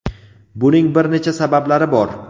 buning bir necha sabablari bor.